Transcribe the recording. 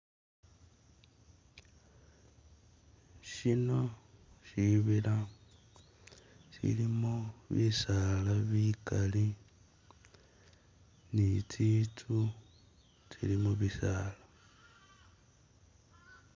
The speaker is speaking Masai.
Shino shibila shilimo bisaala bigali ni tsinzu tsili mubisaala.